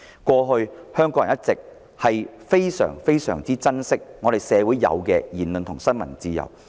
過去香港人一直非常珍惜社會上享有的言論自由和新聞自由。